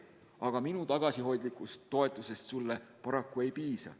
Aga minu tagasihoidlikust toetusest sulle paraku ei piisa.